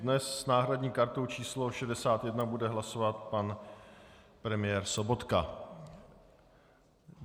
Dnes s náhradní kartou číslo 61 bude hlasovat pan premiér Sobotka.